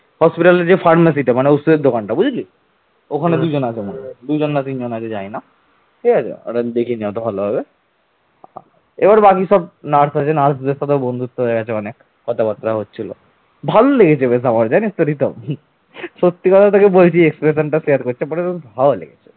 ভালো লেগেছে বেশ আমার জানিস তো রিতম সত্যি কথা তোকে আমি বলছি expression শেয়ার করছি but আমার বেশ ভালো লেগেছে